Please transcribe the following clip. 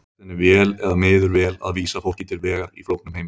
Tekst henni vel eða miður vel að vísa fólki til vegar í flóknum heimi?